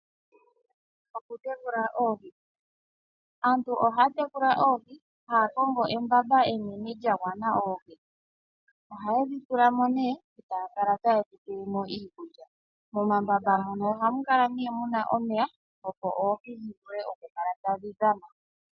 Okutekula oohi, aantu ohaya tekula oohi haya kongo embamba enene lya gwana oohi. Oha yedhi tula mo nee e taya kala ta yedhi pele mo iikulya, mo mambamba muno ohamu kala nee muna omeya opo oohi dhi vule oku kala tadhi dhana.